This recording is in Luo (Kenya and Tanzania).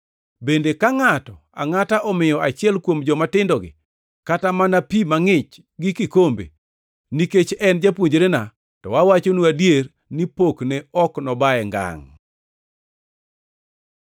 Bende ka ngʼato angʼata omiyo achiel kuom jomatindogi kata mana pi mangʼich gi kikombe, nikech en japuonjrena, to awachonu adier ni pokne ok nobaye ngangʼ.”